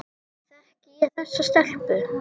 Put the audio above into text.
Þekki ég þessa stelpu?